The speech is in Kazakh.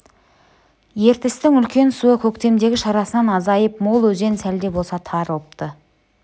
ертістің үлкен суы көктемдегі шарасынан азайып мол өзен сәл де болса тарылыпты